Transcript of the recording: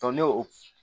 ne o